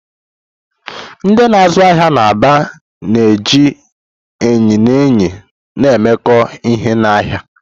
Ndị na-azụ ahịa n'Aba na-eji enyi na enyi na-emekọ ihe n'ahịa.